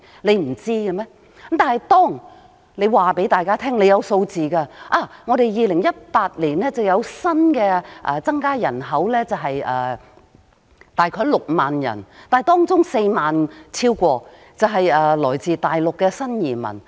可是，政府卻告訴大家它有相關數字，例如2018年香港有新增人口約6萬人，當中有超過4萬人是來自大陸的新移民。